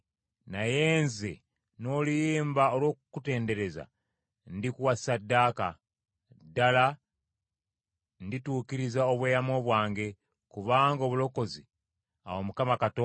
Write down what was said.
Naye nze, n’oluyimba olw’okukutendereza, ndikuwa ssaddaaka. Ddala ndituukiriza obweyamo bwange kubanga obulokozi buva eri Mukama Katonda.”